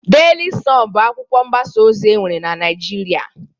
Deli sọn bụ akwụkwọ mgbasa ozi enwere n'Naijịrịa.